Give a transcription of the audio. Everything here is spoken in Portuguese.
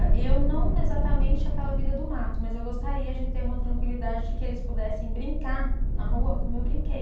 E eu não exatamente aquela vida do mato, mas eu gostaria de ter uma tranquilidade de que eles pudessem brincar na rua como eu brinquei.